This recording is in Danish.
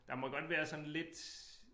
Der må godt være sådan lidt